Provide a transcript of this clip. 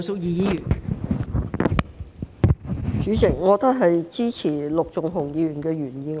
代理主席，我也支持陸頌雄議員的原議案。